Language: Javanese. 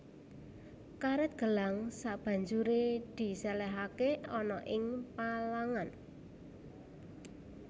Karèt gelang sabanjuré disèlèhake ana ing palangan